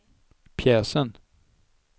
pjäsen